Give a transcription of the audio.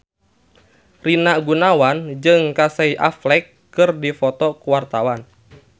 Rina Gunawan jeung Casey Affleck keur dipoto ku wartawan